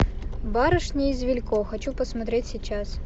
барышни из вилько хочу посмотреть сейчас